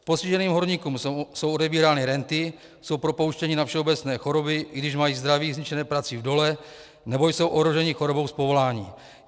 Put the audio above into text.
Postiženým horníkům jsou odebírány renty, jsou propouštěni na všeobecné choroby, i když mají zdraví zničené prací v dole nebo jsou ohroženi chorobou z povolání.